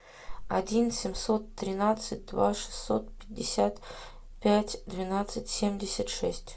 один семьсот тринадцать два шестьсот пятьдесят пять двенадцать семьдесят шесть